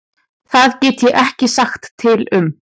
Það get ég ekki sagt til um.